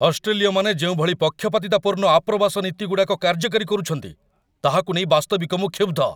ଅଷ୍ଟ୍ରେଲୀୟମାନେ ଯେଉଁଭଳି ପକ୍ଷପାତିତାପୂର୍ଣ୍ଣ ଆପ୍ରବାସ ନୀତିଗୁଡ଼ାକ କାର୍ଯ୍ୟକାରୀ କରୁଛନ୍ତି, ତାହାକୁ ନେଇ ବାସ୍ତବିକ ମୁଁ କ୍ଷୁବ୍ଧ।